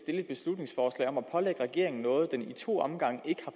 et beslutningsforslag om at pålægge regeringen noget den i to omgange ikke